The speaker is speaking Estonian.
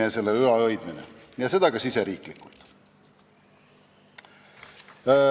... ja selle ülalhoidmine ning seda ka riigisiseselt.